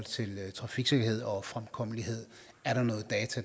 trafiksikkerhed og fremkommelighed